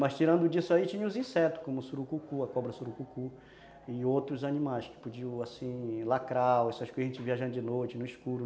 Mas tirando disso aí, tinha os insetos, como o surucucu, a cobra surucucu, e outros animais que podiam, assim, lacrar, essas coisas que a gente viaja de noite, no escuro.